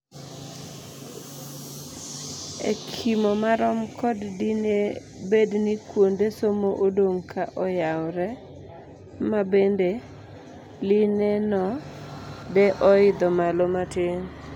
Ekimo marom kod dine bedni kuonde somo odong' ka oyawre, ma bende line no de oidho malo matin.